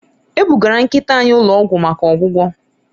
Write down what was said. E bugara nkịta anyị ụlọ ọgwụ maka ọgwụgwọ